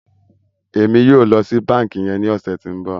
Emi yóò ló sì bánkì yén ní ọsẹ tí ń bó.